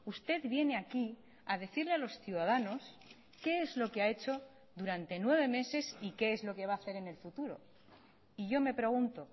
usted viene aquí a decirle a los ciudadanos qué es lo que ha echo durante nueve meses y qué es lo que va a hacer en el futuro y yo me pregunto